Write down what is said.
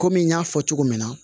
Kɔmi n y'a fɔ cogo min na